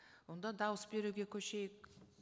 онда дауыс беруге көшейік